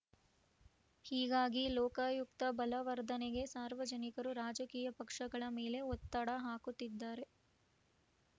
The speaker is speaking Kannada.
ಹೀಗಾಗಿ ಲೋಕಾಯುಕ್ತ ಬಲವರ್ಧನೆಗೆ ಸಾರ್ವಜನಿಕರು ರಾಜಕೀಯ ಪಕ್ಷಗಳ ಮೇಲೆ ಒತ್ತಡ ಹಾಕುತ್ತಿದ್ದಾರೆ